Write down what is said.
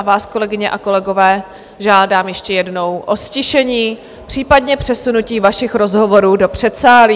A vás, kolegyně a kolegové, žádám ještě jednou o ztišení, případně přesunutí vašich rozhovorů do předsálí.